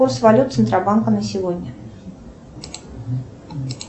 курс валют центробанка на сегодня